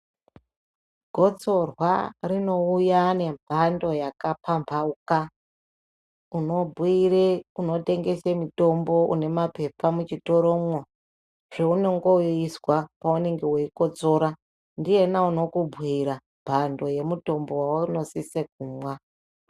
Gotsorwa rinouya nemhando yakapambauka unobhuire unentengesa mitombo une maphepha muchitoromwo zvaunenge weizwa paunenge weikotsora ndiyena unokubhuira mhando yemutombo waunosise kumwa.